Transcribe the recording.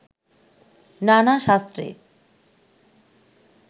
নানা শাস্ত্রে